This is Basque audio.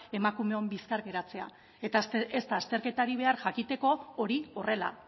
emakumeon bizkar geratzea eta ez da azterketarik behar jakiteko hori horrela